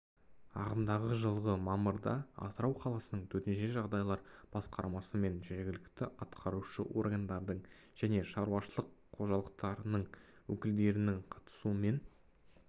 ағымдағы жылғы мамырда атырау қаласының төтенше жағдайлар басқармасымен жергілікті атқарушы органдардың және шаруашылық қожалықтарының өкілдерінің қатысуымен